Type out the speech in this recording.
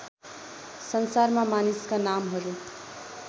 संसारमा मानिसका नामहरू